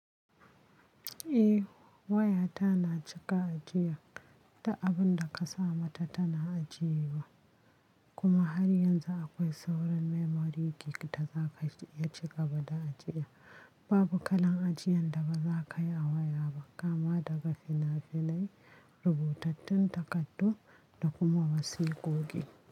Eh waya ta na cika ajiya da abun da ka sama ta na ajiye wa. Kuma har yanzu akwai sauran memory gig ta za ka iya cika ba da ajiya. Babu kalan ajiyan da ba za ka yi a waya ba kamma daga finafinai, rubutattun takardu da kuma wasikoki.